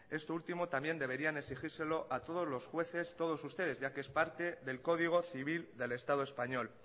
esto último también deberían exigírselo a todos los jueces todos ustedes ya que es parte del código civil del estado español